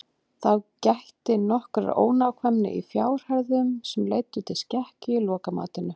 þá gætti nokkurrar ónákvæmni í fjárhæðum sem leiddu til skekkju í lokamatinu